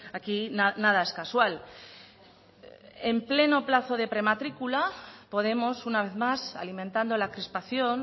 aquí nada es casual en pleno plazo de prematrícula podemos una vez más alimentando la crispación